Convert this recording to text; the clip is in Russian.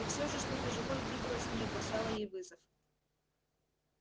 и все же что то живое двигалось в ней и бросало ей вызов